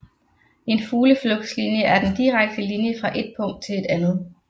En fugleflugtslinje er den direkte linje fra et punkt til et andet